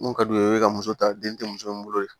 Mun ka d'u ye u bɛ ka muso ta den tɛ muso in bolo yen